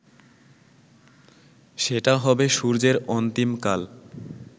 সেটা হবে সূর্যের অন্তিমকাল